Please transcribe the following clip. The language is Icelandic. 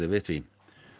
við því